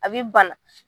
A bɛ bana